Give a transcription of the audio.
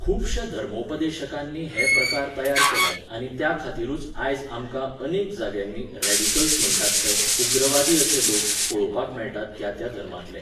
खुबश्या धर्मोपदेशकांनी हे प्रकार तयार केल्यात आनी त्याखातीरूच आयज आमकां अनेक जाग्यांनी रॅडिकल्स म्हणटात ते, उग्रवादी अशे लोक, पळोवपाक मेळटात त्या त्या धर्मांतले.